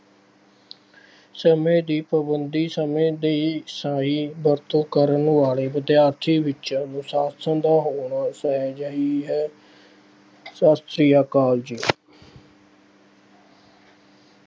ਸਮੇਂ ਦੀ ਪਾਬੰਦੀ, ਸਮੇਂ ਦੀ ਸਹੀ ਵਰਤੋਂ ਕਰਨ ਵਾਲੇ ਵਿਦਿਆਰਥੀ ਵਿੱਚ ਅਨੁਸਾਸ਼ਨ ਦਾ ਹੋਣਾ ਸਹਿਜੇ ਹੀ ਹੈ। ਸਤਿ ਸ਼੍ਰੀ ਅਕਾਲ ਜੀ।